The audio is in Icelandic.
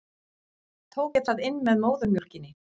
Tók ég það inn með móðurmjólkinni?